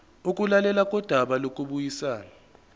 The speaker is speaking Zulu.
ukulalelwa kodaba lokubuyisana